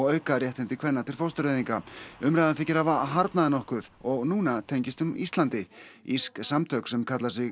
auka réttindi kvenna til fóstureyðinga umræðan þykir hafa harðnað nokkuð og núna tengist hún Íslandi írsk samtök sem kalla sig